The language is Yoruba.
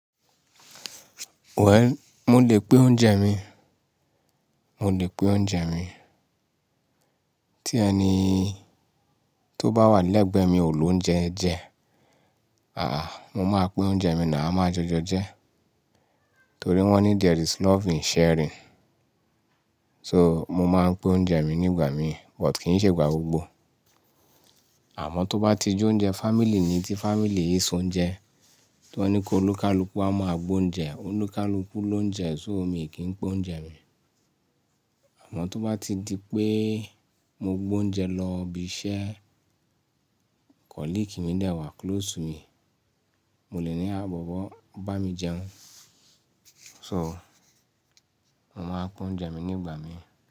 Wẹ̀, mo lè pe oúnjẹ mi, mo lè pe oúnjẹ mi. Tí ẹni tó bá wà lẹ́gbẹ̀ẹ́ mi ò lo oúnjẹ jẹ, àá mo máa pín oúnjẹ mi náà a máa jọjọ jẹ́. Torí wọ́n ní "there is love in sharing." So, mo máa ń pín oúnjẹ mi nígbà mi, but kì í ṣe ìgbà gbogbo. Àmọ́ tó bá ti ju oúnjẹ family ni, tí family yìí ss oúnjẹ, tí wọ́n ní kí olúkalùkú wá máa gbé oúnjẹ, olúkalùkú ló ń jẹun so mí kì í pè oúnjẹ mi. Àmọ́ tó bá ti di pé mo gbó oúnjẹ lọ ibi iṣẹ́, colleague mi dẹ̀ wà close to me, mo lè ní à bọ̀bo bá mi jẹun. So, mo máa ń pín oúnjẹ mi nígbà mi.